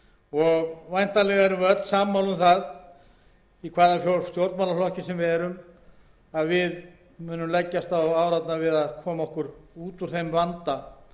og væntanlega erum við öll sammála um það í hvaða stjórnmálaflokki sem við erum að við munum leggjast á árarnar við að koma okkur út úr þeim vanda sem vissulega er staðreynd